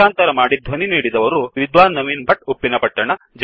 ಭಾಷಾಂತರ ಮಾಡಿ ಧ್ವನಿ ನೀಡಿದವರು ವಿದ್ವಾನ್ನವೀನ್ ಭಟ್ ಉಪ್ಪಿನಪಟ್ಟಣ